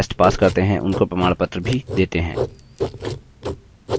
जो online test pass करते हैं उनको प्रमाणपत्र भी देते हैं